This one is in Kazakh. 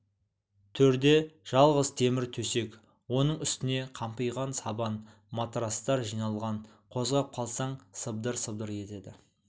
төрде жалғыз темір төсек оның үстіне қампиған сабан матрацтар жиналған қозғап қалсаң сыбдыр-сыбдыр етеді